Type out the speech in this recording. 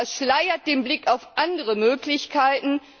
Das verschleiert den Blick auf andere Möglichkeiten.